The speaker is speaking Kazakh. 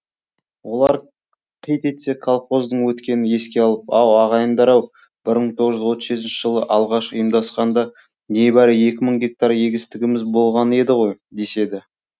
олар қит етсе колхоздың өткенін еске алып ау ағайындар ау бір мың тоғыз жүз отыз жетінші жылы алғаш ұйымдасқанда небәрі екі мың гектар егістігіміз болған еді ғой деседі